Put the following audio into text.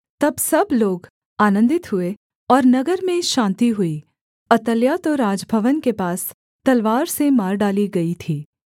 तब सब लोग आनन्दित हुए और नगर में शान्ति हुई अतल्याह तो राजभवन के पास तलवार से मार डाली गई थी